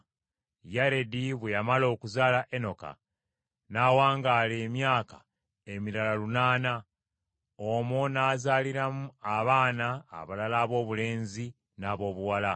Yaredi bwe yamala okuzaala Enoka n’awangaala emyaka emirala lunaana, omwo n’azaaliramu abaana abalala aboobulenzi n’aboobuwala.